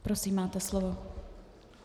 Prosím, máte slovo.